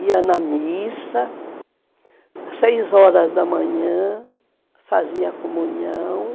ia na missa, às seis horas da manhã, fazia a comunhão.